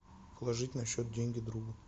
положить на счет деньги другу